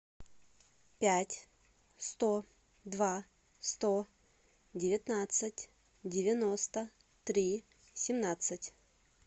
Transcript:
пять сто два сто девятнадцать девяносто три семнадцать